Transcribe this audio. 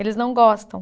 Eles não gostam.